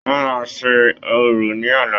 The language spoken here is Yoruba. Wọn máa ṣe orò ní ọ̀la.